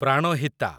Pranhita